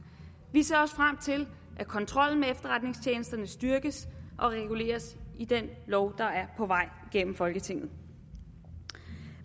vi ser også frem til at kontrollen med efterretningstjenesterne styrkes og reguleres i den lov der er på vej gennem folketinget